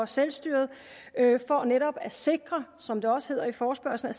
selvstyret for netop at sikre som det også hedder i forespørgslen